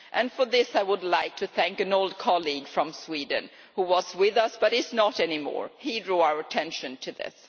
For this, I would like to thank an old colleague from Sweden who was with us but who is not any more. He drew our attention to this.